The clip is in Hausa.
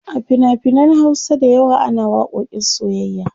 a finafinan Hausa da yawa ana waƙoƙin soyyayya